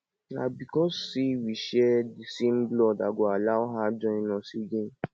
na because say we share the same blood i go allow her join us again